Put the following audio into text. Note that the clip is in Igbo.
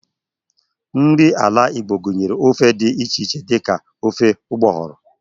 Nri ala Igbo gunyere ofe di iche iche di ka ofe ugboghoro.